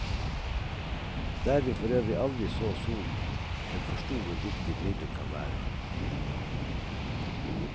Der vi forøvrig aldri så solen, men forsto hvor viktige briller kan være.